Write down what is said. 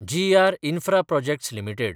जी R Infraprojects limited